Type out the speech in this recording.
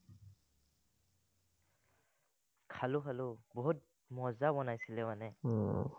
খালো খালো, বহুত মজা বনাইছিলে মানে।